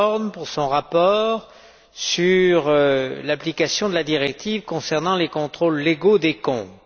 Doorn pour son rapport sur l'application de la directive concernant les contrôles légaux des comptes.